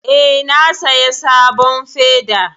Eh, na saya sabon feda